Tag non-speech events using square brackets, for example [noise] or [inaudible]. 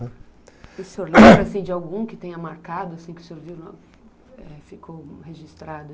E o senhor [clears throat] lembra de algum que tenha marcado, que o senhor viu e ficou registrado?